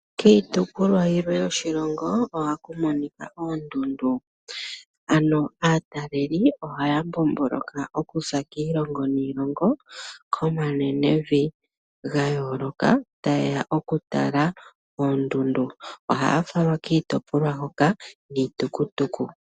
Kiitukulwa yilwe yoshilongo ohaku monika oondundu, ano aataleli ohaya mbomboloka oku za kiilongo niilongo komanenevi gayooloka ta yeya oku tala oondundu ,ohaa falwa kiitopolwa hoka niitukutuku.